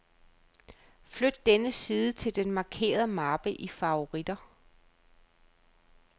Flyt denne side til den markerede mappe i favoritter.